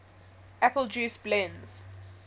apple juice blends